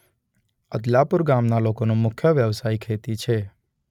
અબ્દલાપુરા ગામના લોકોનો મુખ્ય વ્યવસાય ખેતી છે.